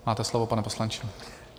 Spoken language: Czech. Máte slovo, pane poslanče.